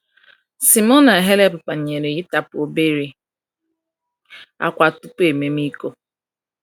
"Simona Halep banyere ịtapu obere akwa tupu ememe iko"